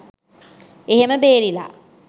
එහෙම බේරිලා